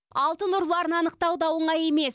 алтын ұрыларын анықтау да оңай емес